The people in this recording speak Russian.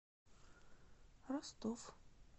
ростов